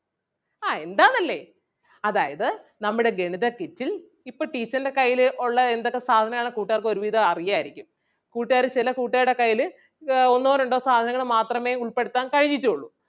ആഹ് എന്താന്നല്ലേ അതായത് നമ്മടെ ഗണിത kit ൽ ഇപ്പം teacher ൻ്റെ കയ്യില് ഒള്ള എന്തൊക്കെ സാധനമാണ് കൂട്ടുകാർക്ക് ഒരുവിധം അറിയാരിക്കും കൂട്ടുകാര് ചെല കൂട്ടുകാർടെ കയ്യില് ആഹ് ഒന്നോ രണ്ടോ സാധനങ്ങള് മാത്രമേ ഉൾപ്പെടുത്താൻ കഴിഞ്ഞിട്ടും ഒള്ളു.